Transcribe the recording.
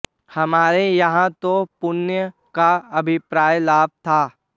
हमारे यहां तो पुण्य का अभिप्राय लाभ था